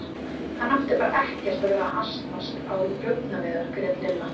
Hann átti bara ekkert að vera að asnast á rjúpnaveiðar grét Lilla.